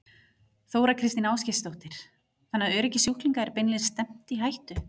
Þóra Kristín Ásgeirsdóttir: Þannig að öryggi sjúklinga er beinlínis stefnt í hættu?